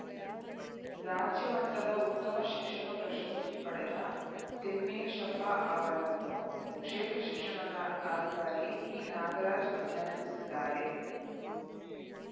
ರಾಜ್ಯ ಮಟ್ಟದ ಉತ್ತಮ ಶಿಕ್ಷಕ ಪ್ರಶಸ್ತಿ ಪಡೆದ ತಿಮ್ಮೇಶಪ್ಪ ಅವರನ್ನು ಕ್ಷೇತ್ರ ಶಿಕ್ಷಣಾಧಿಕಾರಿ ಪಿನಾಗರಾಜ್‌ ಅಭಿನಂದಿಸಿದ್ದಾರೆ